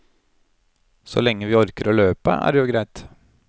Så lenge vi orker å løpe, er det jo greit.